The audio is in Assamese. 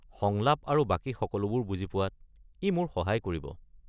সংলাপ আৰু বাকী সকলোবোৰ বুজি পোৱাত ই মোৰ সহায় কৰিব।